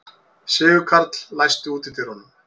Sigurkarl, læstu útidyrunum.